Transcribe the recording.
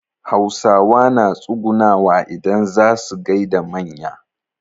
Hausawa na tsugunawa idan zaa su gaida manya.